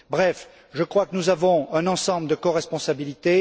Bref, je crois que nous avons un ensemble de coresponsabilités.